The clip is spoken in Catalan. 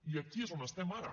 i aquí és on estem ara